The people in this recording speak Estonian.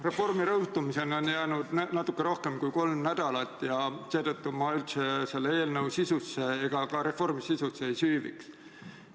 Reformi jõustumiseni on jäänud natukene rohkem kui kolm nädalat ja seetõttu ma üldse selle eelnõu ega ka reformi sisusse ei süüviks.